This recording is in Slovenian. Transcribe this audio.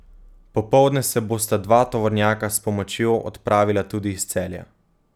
Popoldne se bosta dva tovornjaka s pomočjo odpravila tudi iz Celja.